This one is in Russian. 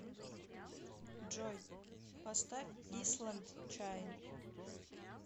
джой поставь исланд чайн